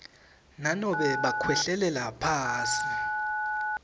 nanobe bakhwehlelela phasi